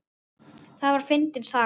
Það var fyndin saga.